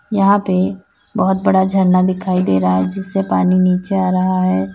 यहां पे बहुत बड़ा झरना दिखाई दे रहा है जिससे पानी नीचे आ रहा है।